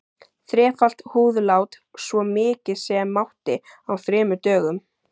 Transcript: Þrefalt húðlát, svo mikið sem mátti, á þremur dögum.